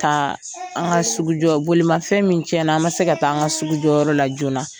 Taa, an ka sugu jɔ bolimafɛn min cɛna, an ma se ka t'an ka sugujɔyɔrɔyɔrɔla joona.